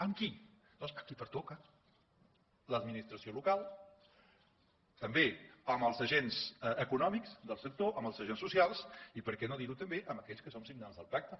amb qui doncs amb qui pertoca l’administració local també amb els agents econòmics del sector amb els agents socials i per què no dir ho també amb aquells que som signants del pacte